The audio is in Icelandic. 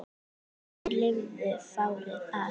Þeir lifðu fárið af